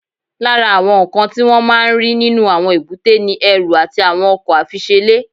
Lára àwọn nǹkan tí wọ́n máa ń rí nínú àwọn èbúté ni ẹrù àti àwọn ọkọ̀ àfiṣelé